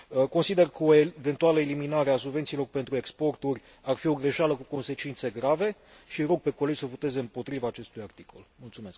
Consider că o eventuală eliminare a subvențiilor pentru exporturi ar fi o greșeală cu consecințe grave și îi rog pe colegi să voteze împotriva acestui punct.